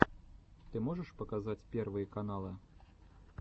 ты можешь показать первые каналы